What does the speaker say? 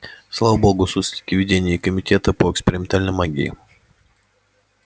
слава богу суслики в ведении комитета по экспериментальной магии